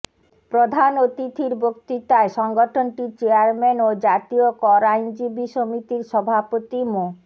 প্রধান অতিথির বক্তৃতায় সংগঠনটির চেয়ারম্যান ও জাতীয় কর আইনজীবী সমিতির সভাপতি মো